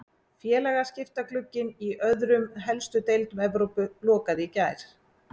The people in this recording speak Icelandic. Félagaskiptaglugginn í öðrum helstu deildum Evrópu lokaði í gær.